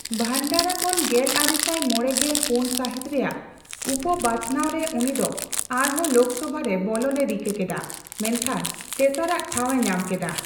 ᱵᱷᱟᱱᱰᱟᱨᱟ ᱠᱷᱚᱱ ᱜᱮᱞᱟᱨᱮᱥᱟᱭ ᱢᱚᱲᱮᱜᱮᱞ ᱯᱩᱱ ᱥᱟᱹᱦᱤᱛ ᱨᱮᱭᱟᱜ ᱩᱯᱚᱼᱵᱟᱪᱷᱱᱟᱣ ᱨᱮ ᱩᱱᱤ ᱫᱚ ᱟᱨᱦᱚᱸ ᱞᱳᱠᱥᱚᱵᱷᱟ ᱨᱮ ᱵᱚᱞᱚᱱᱮ ᱨᱤᱠᱟᱹ ᱠᱮᱫᱟ, ᱢᱮᱱᱠᱷᱟᱱ ᱛᱮᱥᱟᱨᱟᱜ ᱴᱷᱟᱶᱮ ᱧᱟᱢ ᱠᱮᱫᱟ ᱾